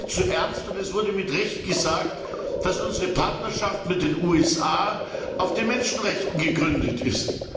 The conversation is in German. Thema ist viel zu ernst, und es wurde zu Recht gesagt, dass unsere Partnerschaft mit den USA auf den Menschenrechten gegründet ist.